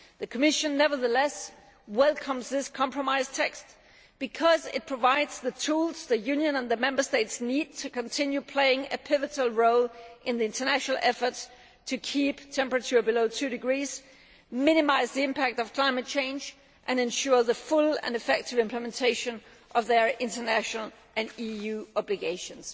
The Commission nevertheless welcomes this compromise text because it provides the tools the Union and the Member States need to continue playing a pivotal role in the international effort to keep the temperature increase below 2°C, minimise the impact of climate change and ensure full and effective implementation of their international and EU obligations.